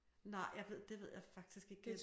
Nej jeg ved det ved jeg faktisk ikke det